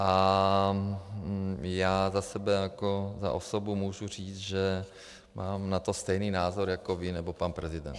A já za sebe jako za osobu můžu říct, že mám na to stejný názor jako vy nebo pan prezident.